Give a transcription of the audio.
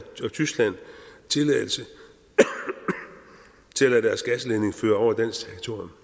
tyskland tilladelse til at lade deres gasledning føre over dansk territorium